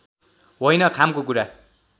होइन खामको कुरा